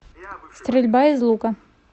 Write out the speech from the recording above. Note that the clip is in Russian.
стрельба из лука